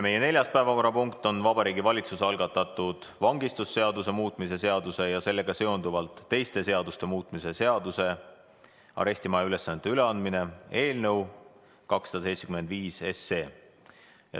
Nüüd vangistusseaduse muutmise seaduse ja sellega seonduvalt teiste seaduste muutmise seaduse eelnõu 275.